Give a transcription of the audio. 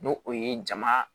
N'o o ye jama